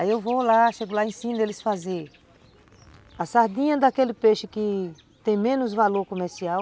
Aí eu vou lá, chego lá e ensino eles a fazer a sardinha daquele peixe que tem menos valor comercial,